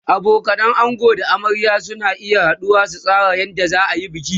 abokanan ango da na amarya suna haduwa su tsara yadda zaayi bikin